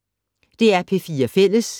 DR P4 Fælles